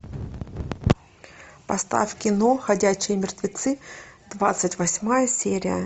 поставь кино ходячие мертвецы двадцать восьмая серия